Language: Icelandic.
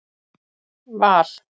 Val